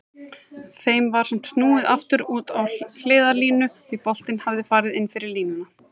Þeim var samt snúið aftur út á hliðarlínu því boltinn hafði farið inn fyrir línuna.